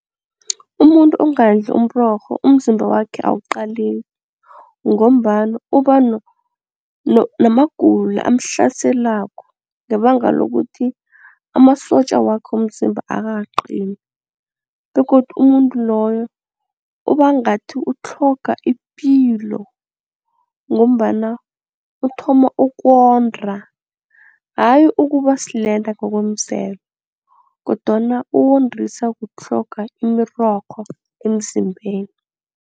Umuntu ongadli umrorho umzimba wakhe awuqaleki ngombana uba namagulo amhlaselako ngebanga lokuthi amasotja wakhe womzimba akakaqini begodu umuntu loyo uba ngathi utlhoga ipilo ngombana uthoma ukonda hayi ukuba silenda ngokwemvelo kodwana uwondiswa kutlhoga imirorho emzimbeni.